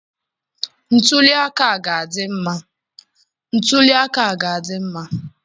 Ntuli aka a ga-adị mma